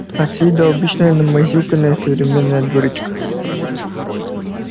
а с виду обычная намазюканная современная дурочка